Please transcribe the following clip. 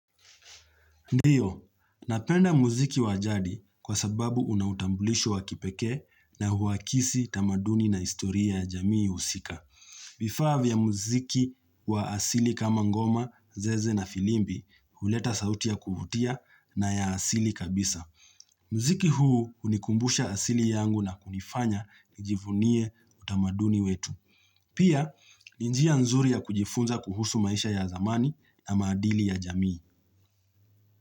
Ndiyo, napenda muziki wa jadi kwa sababu unautambulisho waki pekee na huakisi tamaduni na historia ya jamii husika. Vifaa vya muziki wa asili kama ngoma, zeze na filimbi, huleta sauti ya kuvutia na ya asili kabisa. Mziki huu hunikumbusha asili yangu na kunifanya nijivunie utamaduni wetu. Pia, ni njia nzuri ya kujifunza kuhusu maisha ya zamani na maadili ya jamii.